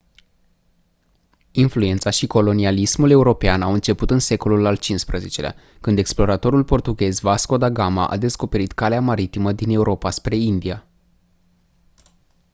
influența și colonialismul european au început în secolul al xv-lea când exploratorul portughez vasco da gama a descoperit calea maritimă din europa spre india